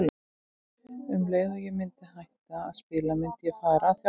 Um leið og ég myndi hætta að spila myndi ég fara að þjálfa.